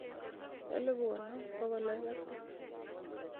elipu konom bogol oeng' ak tisab